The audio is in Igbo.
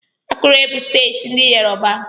Akure bụ steeti ndị Yoruba.